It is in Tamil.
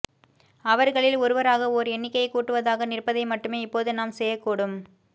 அவர்களில் ஒருவராக ஓர் எண்ணிக்கையை கூட்டுவதாக நிற்பதை மட்டுமே இப்போது நாம் செய்யக்கூடும்